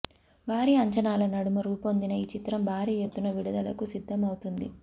భారీ అంచనాల నడుమ రూపొందిన ఈ చిత్రం భారీ ఎత్తున విడుదలకు సిద్దం అవుతుంది